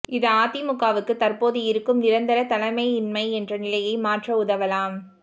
இது அதிமுகவுக்கு தற்போதிருக்கும் நிரந்தர தலைமையின்மை என்ற நிலையை மாற்ற உதவலாம்